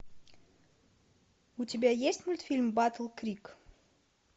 у тебя есть мультфильм батл крик